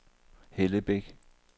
Hellebæk